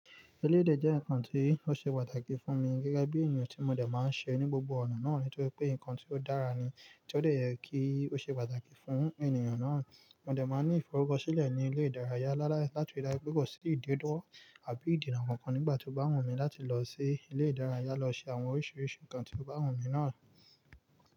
Elé ìdè jẹ́ nǹkan tí ó ṣe pàtàkì fún mi gẹ́gẹ́ bí ènìyàn tí mo dẹ̀ máa ń ṣe ní gbogbo ọ̀nà náà nítorí pé nǹkan tí ó dára ni, tí ó lè yẹ kí ó ṣe pàtàkì fún ènìyàn náà. Mo dẹ̀ máa ní ìforukọ́ṣílẹ̀ ní ilé ìdárayá láti dáju pe ko sí ìdéduwọ àbí ìdìná kankan nígbà tí ó bá wù mí láti lọ sí ilé ìdárayá lọ ṣe àwọn oríṣiríṣi nǹkan tí ó bá wù mí náà.